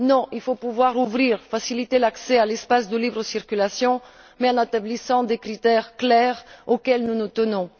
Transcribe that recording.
Non, il faut pouvoir ouvrir, faciliter l'accès à l'espace de libre circulation, mais en établissant des critères clairs auxquels nous nous tenons.